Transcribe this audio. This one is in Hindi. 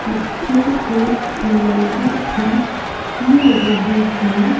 बच्चे के खिलौने भी मिल रहे हैं।